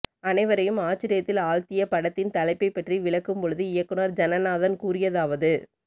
அனைவரையும் ஆச்சரியத்தில் ஆழ்த்திய படத்தின் தலைப்பை பற்றி விளக்கும் பொழுது இயக்குனர் ஜனநாதன் கூறியதாவது